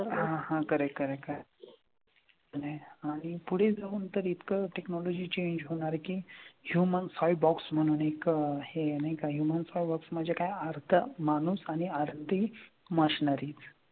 हां हां खरं आहे खरं आहे एक आहे. आणि आणि पुढे जाऊन तर इतकं technology change होणार आहे की human cyborg म्हणून एक हे आहे नाही का human cyborg म्हणजे काय, अर्धा माणूस आणि अर्धी machinery.